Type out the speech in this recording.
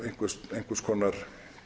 á einhvers konar